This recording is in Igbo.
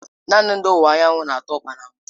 Naanị ndị ọwụwa anyanwụ na-ata ukpa na mbụ.